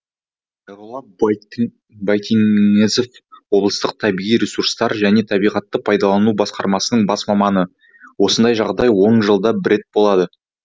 қайролла байтеңізов облыстық табиғи ресурстар және табиғатты пайдалану басқармасының бас маманы осындай жағдай он жылда бір рет болады